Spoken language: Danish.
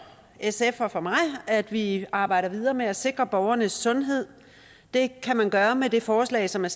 sf at vi arbejder videre med at sikre borgernes sundhed det kan man gøre med det forslag som er